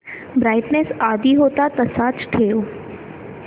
brightness आधी होता तसाच ठेव